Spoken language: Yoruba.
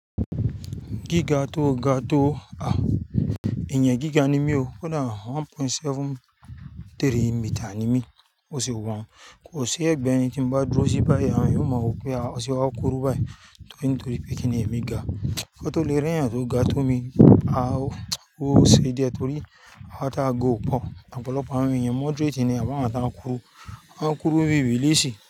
Gíga tó ga tó, èèyàn gíga ni mí o, kó dà one point seven three meter ni mí. Ó ṣe wọ́n, kò sí ẹgbẹ́ ẹni tí n bá dúró sí báyí, àwọn èèyàn á má wò pé, ó ṣe wá kúrú báyí, nítorí pé kí ni, èmi ga. Kò tó lè rí èèyàn tó ga tó mi, a ò ṣe díẹ̀ torí àwa tá ga ò pọ̀, ọ̀pọ̀lọpọ̀ àwọn èyàn moderate ni, àbí àwọn tí wọ́n kúrú, wọ́n kúrú bí bìlísì.